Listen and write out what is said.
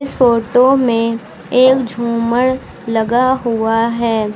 Photo में एक झुमर लगा हुआ है।